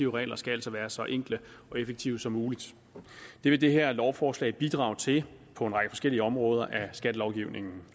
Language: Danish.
regler skal altså være så enkle og effektive som muligt det vil det her lovforslag bidrage til på en række forskellige områder af skattelovgivningen